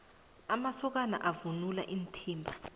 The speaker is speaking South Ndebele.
amasokana avunula iinthimba